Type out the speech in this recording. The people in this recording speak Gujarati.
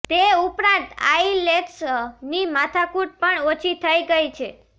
તે ઉપરાંત આઈલેટ્સ ની માથાકૂટ પણ ઓછી થઇ ગઈ છે